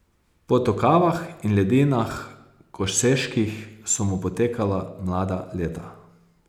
Po tokavah in ledinah koseških so mu potekala mlada leta.